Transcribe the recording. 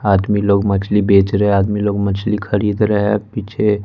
आदमी लोग मछली बेच रहे आदमी लोग मछली खरीद रहे हैं पीछे--